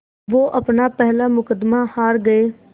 वो अपना पहला मुक़दमा हार गए